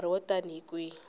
nkarhi wo tani hi kwihi